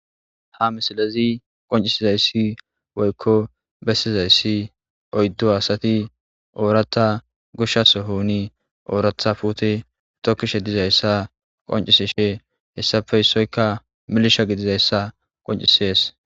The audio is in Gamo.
ha misilezi qoncisizayssi woykko bessizayssi oyddu asati oorata gushshaso houni ooratha puute tokkishe dizayssa qoncisishe hessafeysoyka milisha gidizayssa qoncisees